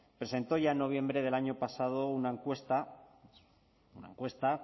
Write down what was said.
presentó ya en noviembre del año pasado una encuesta una encuesta